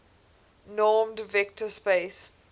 normed vector space